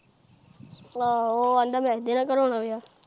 ਆਹੋ ਉਹ ਕਹਿੰਦਾ ਅੰਜਲੀ ਨਾਲ ਕਰਾਉਣਾ ਵਿਆਹ।